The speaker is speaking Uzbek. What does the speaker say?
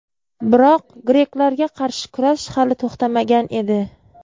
Biroq greklarga qarshi kurash hali to‘xtamagan edi.